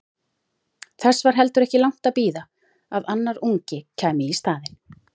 Þess var heldur ekki langt að bíða að annar ungi kæmi í staðinn.